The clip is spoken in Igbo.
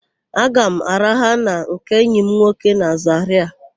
Aga m araha na nke enyi m nwoke na Zarịa.